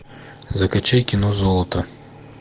закачай кино золото